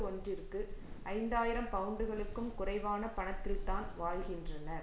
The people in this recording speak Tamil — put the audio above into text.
ஒன்றிற்கு ஐந்து ஆயிரம் பவுண்டுகளுக்கும் குறைவான பணத்தில்தான் வாழ்கின்றனர்